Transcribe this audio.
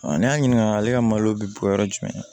n'i y'a ɲininka ale ka malo bɛ bɔ yɔrɔ jumɛn